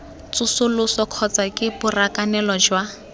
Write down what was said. tsosoloso kgotsa ke borakanelo jwa